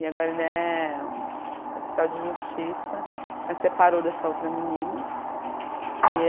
E agora ele é oficial de justiça, mas separou dessa outra menina. E